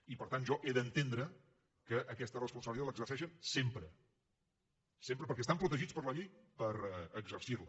i per tant jo he d’entendre que aquesta responsabilitat l’exerceixen sempre sempre perquè estan protegits per la llei per exercir la